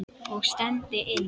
Og stefndi inn